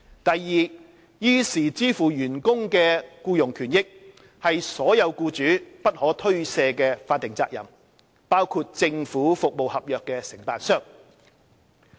第二，依時支付員工的僱傭權益，是所有僱主不可推卸的法定責任，包括政府服務合約承辦商。